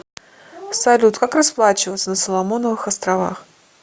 салют как расплачиваться на соломоновых островах